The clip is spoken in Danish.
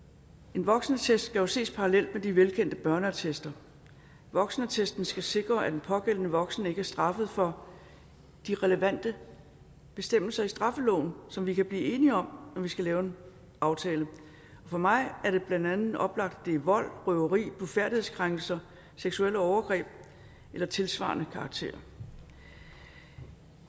en voksenattest skal jo ses parallelt med de velkendte børneattester voksenattesten skal sikre at den pågældende voksne ikke er straffet for de relevante bestemmelser i straffeloven som vi kan blive enige om det når vi skal lave en aftale for mig er det blandt andet oplagt at det er vold røveri blufærdighedskrænkelser og seksuelle overgreb af tilsvarende karakter